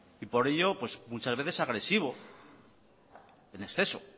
y por ello pues muchas veces agresivo en exceso